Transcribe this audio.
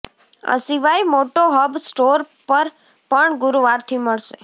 આ સિવાય મોટો હબ સ્ટોર પર પણ ગુરુવારથી મળશે